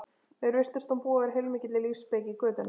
Mér virtist hún búa yfir heilmikilli lífsspeki götunnar